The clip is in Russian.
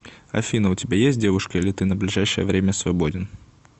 афина у тебя есть девушка или ты на ближайшее время свободен